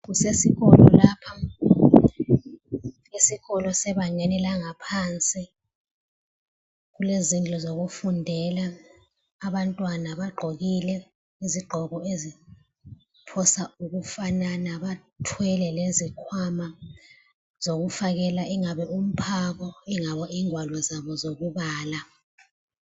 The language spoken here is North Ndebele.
Kusesikolo lapha. Esikolo sebangeni langaphansi. Kulezindlu zokufundela. Abantwana bagqokile izigqoko eziphosa ukufanana. Bathwele lezikhwama zokufakela ingabe umphako, ingabe ingwalo zabo zokubala.